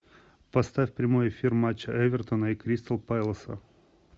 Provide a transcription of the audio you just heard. поставь прямой эфир матча эвертона и кристал пэласа